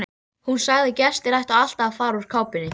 Hún sagði að gestir ættu alltaf að fara úr kápunni.